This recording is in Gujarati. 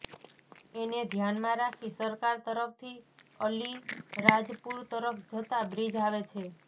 એને ધ્યાનમાં રાખી સરકાર તરફથી અલીરાજપુર તરફ્ જતા બ્રિજ આવે છે